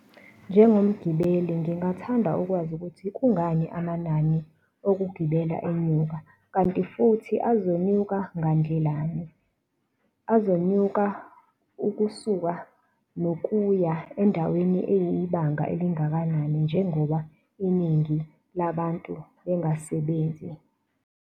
Njengomgibeli ngingathanda ukwazi ukuthi kungani amanani okugibela enyuka? Kanti futhi azonyuka ngandlelani? Azonyuka ukusuka nokuya endaweni eyibanga elingakanani, njengoba iningi labantu bengasebenzi.